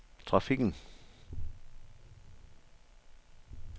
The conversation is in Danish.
trafikken